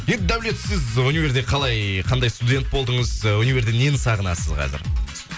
енді даулет сіз универде қалай қандай студент болдыңыз і универде нені сағынасыз қазір